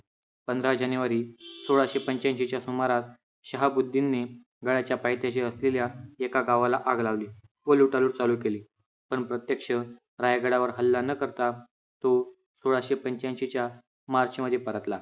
पंधरा जानेवारी सोळाशे पंच्याऐशी च्या सुमारास शहाबुद्दीन ने गडाच्या पायथ्याशी असलेल्या एका गावाला आग लावली व लुटालूट चालू केली. पण प्रत्यक्ष रायगडावर हल्ला न करता तो सोळाशे पंच्याऐंशी च्या मार्च मध्ये परतला.